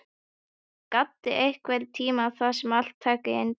Gaddi, einhvern tímann þarf allt að taka enda.